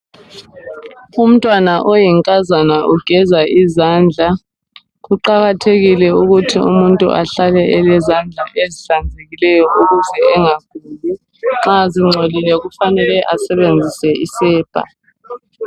Umntwana oyinkazana ugeza izandla, Kuqakathekile ukuthi umuntu ahlale elezandla ezihlambulukileyo ukuze engaguli, nxa zingcolile kufanele asebenzise isepa.